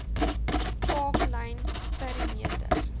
park lane perimeter